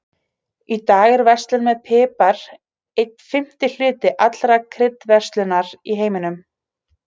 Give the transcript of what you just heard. Í dag er verslun með pipar einn fimmti hluti allrar kryddverslunar í heiminum.